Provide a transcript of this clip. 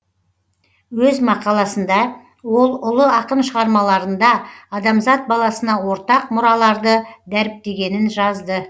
өз мақаласында ол ұлы ақын шығармаларында адамзат баласына ортақ мұраларды дәріптегенін жазды